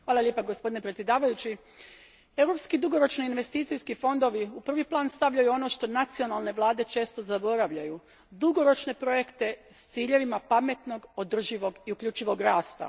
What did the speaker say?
Gospodine predsjedniče, europski dugoročni investicijski fondovi u prvi plan stavljaju ono što nacionalne vlade često zaboravljaju, dugoročne projekte s ciljevima pametnog, održivog i uključivog rasta.